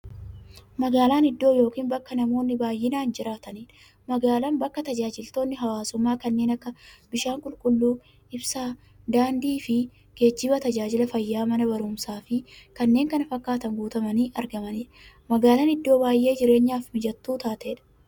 Magaalan iddoo yookiin bakka namoonni baay'inaan jiraataniidha. Magaalan bakka taajajilootni hawwaasummaa kanneen akka; bishaan qulqulluu, ibsaa, daandiifi geejjiba, taajajila fayyaa, Mana baruumsaafi kanneen kana fakkatan guutamanii argamaniidha. Magaalan iddoo baay'ee jireenyaf mijattuu taateedha.